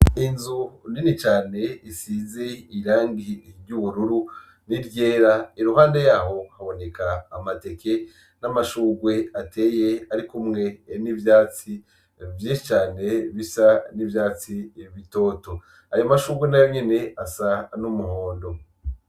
Inzu nini cane isize irangi ry'ubururu ni ryera iruhande yaho haboneka amateke n' amashurwe ateye ari kumwe n'ivyatsi vyinshi cane bisa n'ivyatsi bitoto. Ayo mashurwe nayo nyene asa n'umuhondo